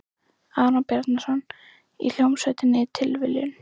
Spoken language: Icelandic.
Aron Bjarnason, í hljómsveitinni Tilviljun?